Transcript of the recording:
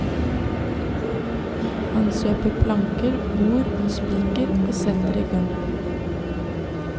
Han kjøper planker, bord og spiker og setter i gang.